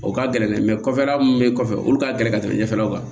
O ka gɛlɛn dɛ kɔfɛla mun be kɔfɛ olu ka gɛlɛn ka tɛmɛ ɲɛfɛlaw kan